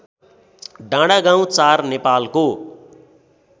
डाँडागाउँ ४ नेपालको